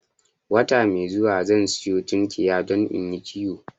Wata mai zuwa zan sanyo tunkiya don inyi kiwo